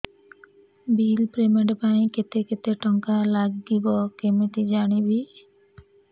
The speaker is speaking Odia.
ବିଲ୍ ପେମେଣ୍ଟ ପାଇଁ କେତେ କେତେ ଟଙ୍କା ଲାଗିବ କେମିତି ଜାଣିବି